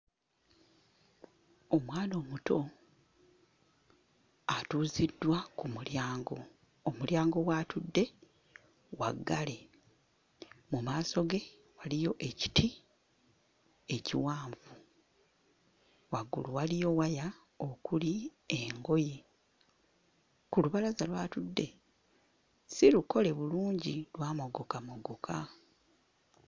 Omwana omuto atuuziddwa ku mulyango, omulyango w'atudde waggale, mu maaso ge waliyo ekiti ekiwanvu, waggulu waliyo waya okuli engoye, ku lubalaza w'atudde si lukole bulungi lwamogokamogoka.